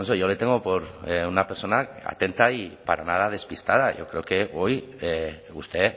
yo le tengo por una persona atenta y para nada despistada yo creo que hoy usted